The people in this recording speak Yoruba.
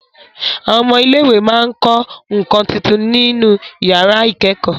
Àwọn ọmọ ilé ìwé máa ń kọ́ nǹkan tuntun nínú iyàrá ìkẹ́kọ̀ọ́